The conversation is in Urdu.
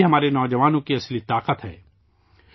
یہ ہمارے نوجوانوں کی اصل طاقت ہے